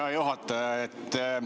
Hea juhataja!